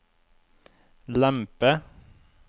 lempe